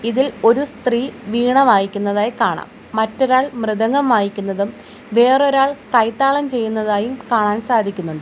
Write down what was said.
ഇതിൽ ഒരു സ്ത്രീ വീണ വായിക്കുന്നതായി കാണാം മറ്റൊരാൾ മൃദംഗം വായിക്കുന്നതും വേറൊരാൾ കൈതാളം ചെയ്യുന്നതായും കാണാൻ സാധിക്കുന്നുണ്ട്.